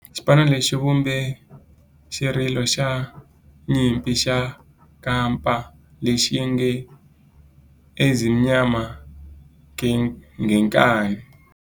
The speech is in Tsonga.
Xipano lexi xi vumbe xirilo xa nyimpi xa kampa lexi nge 'Ezimnyama Ngenkani'.